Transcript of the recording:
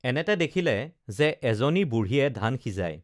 এনেতে দেখিলে যে এজনী বুঢ়ীয়ে ধান সিজাই